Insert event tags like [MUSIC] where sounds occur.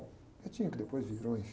[UNINTELLIGIBLE] que depois virou [UNINTELLIGIBLE]